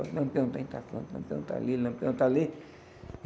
Lampião está em, Lampião está ali, Lampião está ali.